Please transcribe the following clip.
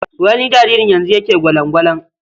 Wani jaririn yanzu yake gwalan-gwalan.